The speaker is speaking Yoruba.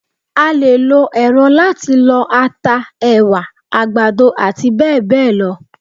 A lè lo èrọ láti lọ ata, ẹ̀wà, àgbàdo àti bẹ́ẹ̀bẹ́ẹ̀ lọ.